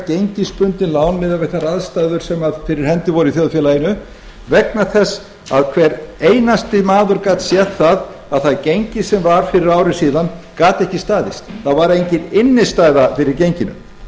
gengisbundin lán miðað við þær aðstæður sem fyrir hendi voru í þjóðfélaginu vegna þess að hver einasti maður gat séð að það gengi sem var fyrir ári síðan gat ekki staðist það var engin innstæða fyrir genginu